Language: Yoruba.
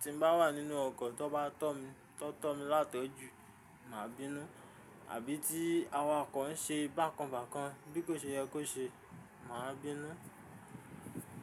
Tí mo bá wà nínú ọkọ̀ tó bà tọ́ mi tó tọ́ mi látọ́jù, màá bínú, àbí tí awakọ̀ n ṣe bákan bákan, bí kò ṣe yẹ kó ṣe, màá bínú.